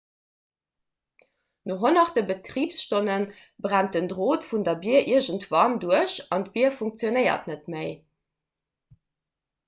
no honnerte betribsstonne brennt den drot vun der bier iergendwann duerch an d'bier funktionéiert net méi